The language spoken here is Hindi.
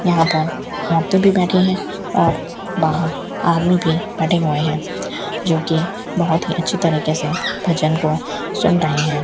यहां पर औरते भी बैठी है और बाहर आदमी भी बैठे हुए है जोकि बहोत ही अच्छी तरीके से भजन को सुन रहे है।